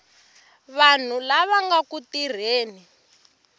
vanhu lava nga ku tirheni